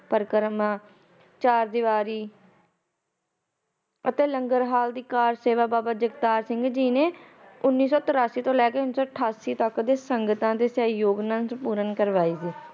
ਪਰਿਕਰਮਾ ਚਾਰ ਦਿਵਾਰੀ ਅਤੇ ਲੰਗਰ ਹਾਲ ਦੀ